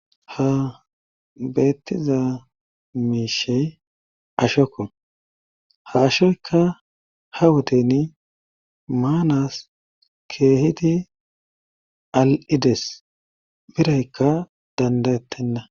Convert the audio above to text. ha beettiza miishey ashokko ha ashoykka ha wodeni maanas keehidi al'ides biraykka dandayettenna